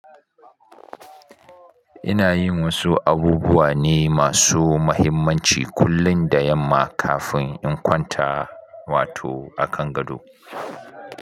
Ina yin wasu abubuwa ne masu muhimmanci kullum da yamma kafin in kwanta, wato akan gado.